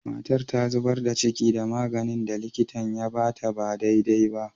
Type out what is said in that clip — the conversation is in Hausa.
Matan ta zubar da ciki dan maganin da likitan ya ba ta ba dai dai ba.